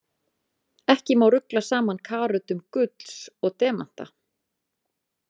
Ekki má rugla saman karötum gulls og demanta.